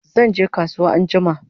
Zanje kasuwa anjima